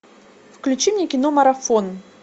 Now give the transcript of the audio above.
включи мне кино марафон